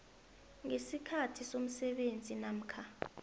ngesikhathi somsebenzi namkha